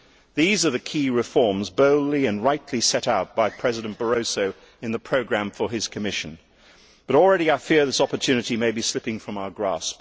These are the key reforms, boldly and rightly set out by President Barroso in the programme for his Commission, but already I fear this opportunity may be slipping from our grasp.